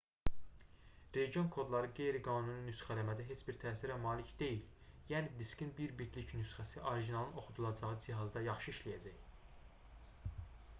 region kodları qeyri-qanuni nüsxələmədə heç bir təsirə malik deyil yəni diskin bir bitlik nüsxəsi orijinalın oxudulacağı cihazda yaxşı işləyəcək